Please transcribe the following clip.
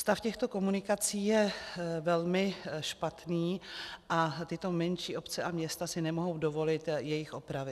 Stav těchto komunikací je velmi špatný a tyto menší obce a města si nemohou dovolit jejich opravy.